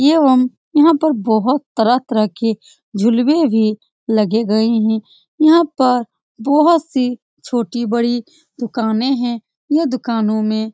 एवं यहां पर बहोत तरह-तरह के झुलवे भी लगे गए है यहां पर बहोत से छोटी-बड़ी दुकाने है ये दुकानों में --